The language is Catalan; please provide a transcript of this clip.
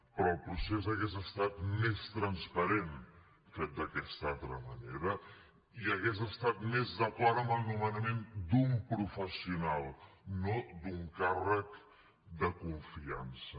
però el procés hauria estat més transparent fet d’aquesta altra manera i hauria estat més d’acord amb el nomenament d’un professional no d’un càrrec de confiança